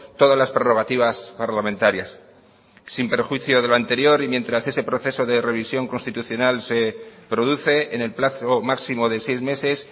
todas las prerrogativas parlamentarias sin perjuicio de lo anterior y mientras ese proceso de revisión constitucional se produce en el plazo máximo de seis meses